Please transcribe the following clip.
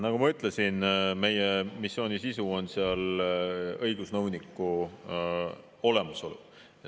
Nagu ma ütlesin, meie missiooni sisu on seal õigusnõuniku olemasolu.